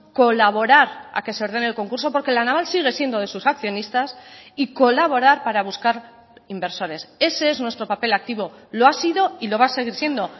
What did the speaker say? colaborar a que se ordene el concurso porque la naval sigue siendo de sus accionistas y colaborar para buscar inversores ese es nuestro papel activo lo ha sido y lo va a seguir siendo